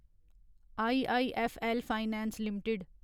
IIFL finance limited